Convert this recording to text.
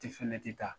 Tɛ fɛnɛ tɛ taa